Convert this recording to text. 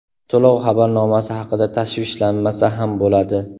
To‘lov xabarnomasi haqida tashvishlanmasa ham bo‘ladi.